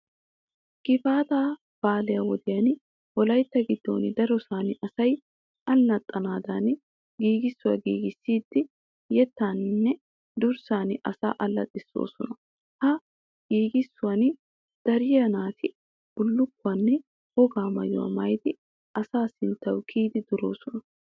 Gifaataa baalaa wodiyan wolaytta giddon darosan asay allaxxanaadan giigissuwa giigissidi yettaaninne durssan asaa allaxxissoosona. Ha giigissuwan duriya naati bullukkuwaanne wogaa maayuwa maayidi asaa sinttawu kiyidi duroosona.